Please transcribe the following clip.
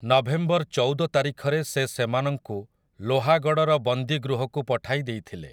November ଚଉଦ ତାରିଖରେ ସେ ସେମାନଙ୍କୁ ଲୋହାଗଡ଼ର ବନ୍ଦୀଗୃହକୁ ପଠାଇ ଦେଇଥିଲେ ।